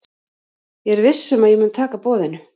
Ég er viss um að ég mun taka boðinu.